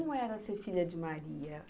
E como era ser filha de Maria?